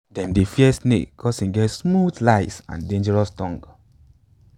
dem dey fear snake cause im get smooth lies and dangerous tongue